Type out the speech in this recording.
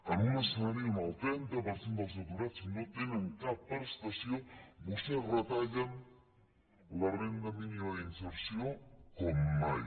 en un escenari on el trenta per cent dels aturats no tenen cap prestació vostès retallen la renda mínima d’inserció com mai